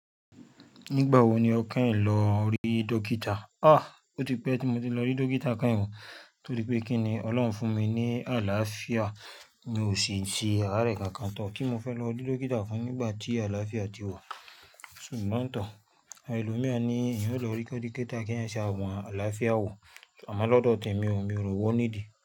Nígbà wo ni o kẹyin lọ rí dókítà? Ó ti pẹ́ tí mo ti lọ rí dókítà kẹ́hìn o, torí pé kí ni Ọlọ́run fún mi ní àlàáfíà, mi ò sì ṣe àárẹ̀ kankan tán. Kí mo fẹ́ lọ rí dókítà fún nígbà tí àlàáfíà ti wa. Ṣùgbọ́n tọ, àwọn ẹlòmíràn a ni èèyàn o lọ rí dókítà kí èèyàn ṣe àwọn àlàáfíà wò. Ṣùgbọ́n lọ́dọ̀ tẹ̀mi o, mi ò rò po ní dì.